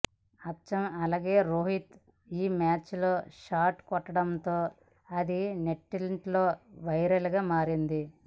అచ్చం అలానే రోహిత్ ఈ మ్యాచ్లో ఆ షాట్ కొట్ట్డడంతో అది నెట్టింట్లో వైరల్గా మారింది